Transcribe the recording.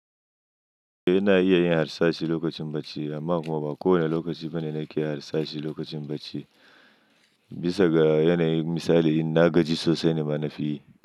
Eh ina iya yin harsashi lokacin bacci amma kuma ba kowane lokaci bane nake harsashi lokacin bacci. Bisa ga yanayin misali in na gaji sosai ne ma na fi yi.